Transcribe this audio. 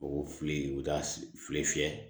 O fili u bɛ taa fili fiyɛ